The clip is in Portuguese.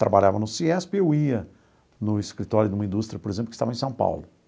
Trabalhava no CIESP e eu ia no escritório de uma indústria, por exemplo, que estava em São Paulo.